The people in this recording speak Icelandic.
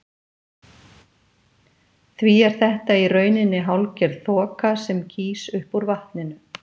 Því er þetta í rauninni hálfgerð þoka sem gýs upp úr vatninu.